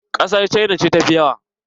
Ƙasar cina ce tafi yawa.